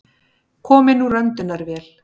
Kominn úr öndunarvél